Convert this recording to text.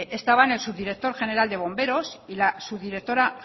estaban el subdirector general de bomberos y la subdirectora